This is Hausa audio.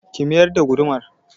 Ki mayar da gudumar!